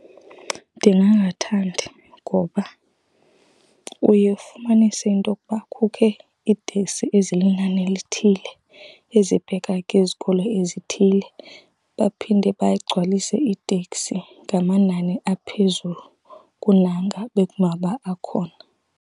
Ndingangathandi, ngoba uye ufumanise intokuba kukho iiteksi ezilinani elithile ezibheka kwizikolo ezithile, baphinde bagcwalise iiteksi ngamanani aphezulu kunanga bekumaba akhona.